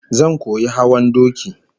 Zan koyi hawan doki